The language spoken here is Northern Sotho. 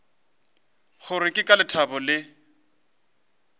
gore ke ka lethabo le